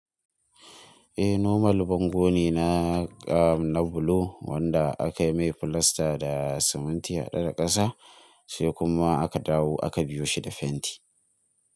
Eh nomal bango ne na kam na bulo wanda aka yi mai filasta da siminti haɗe da ƙasa sai kuma aka dawo aka biyo shi da fenti.